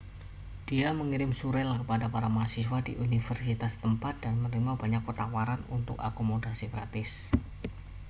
dia mengirim surel kepada para mahasiswa di universitas setempat dan menerima banyak tawaran untuk akomodasi gratis